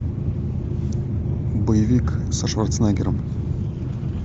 боевик со шварценеггером